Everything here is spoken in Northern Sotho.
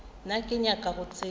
nna ke nyaka go tseba